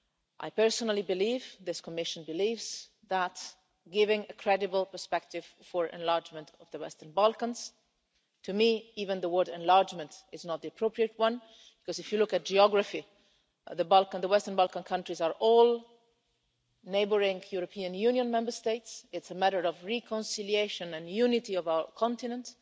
I personally believe, and this Commission believes, that giving a credible perspective for enlargement in the Western Balkans to me even the word enlargement is not the appropriate one, because if you look at the geography, the Balkans, the Western Balkan countries, are all neighbouring European Union Member States is a matter of the reconciliation and unity of our continent.